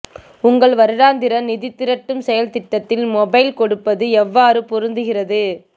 உங்கள் வருடாந்திர நிதி திரட்டும் செயல்திட்டத்தில் மொபைல் கொடுப்பது எவ்வாறு பொருந்துகிறது